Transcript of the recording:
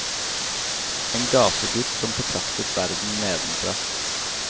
En gategutt som betraktet verden nedenfra.